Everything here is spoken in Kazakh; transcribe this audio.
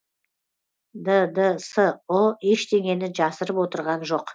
ддсұ ештеңені жасырып отырған жоқ